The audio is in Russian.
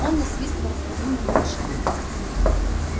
он насвистывал старинный марш